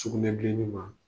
Sugunɛbileni ma.